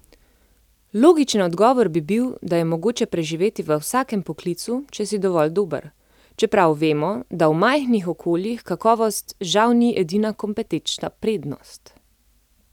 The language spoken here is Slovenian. Logičen odgovor bi bil, da je mogoče preživeti v vsakem poklicu, če si dovolj dober, čeprav vemo, da v majhnih okoljih kakovost žal ni edina kompetenčna prednost.